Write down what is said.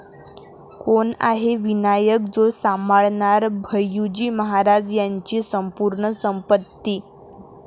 कोण आहे विनायक, जो सांभाळणार भय्यूजी महाराज यांची संपूर्ण संपत्ती!